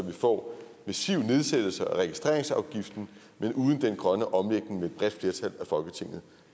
vi får massive nedsættelser af registreringsafgiften men uden den grønne omlægning